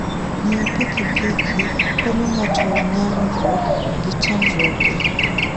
Ng'iyo pikipiki konyo ng'ato nyagruok gi chandruoge.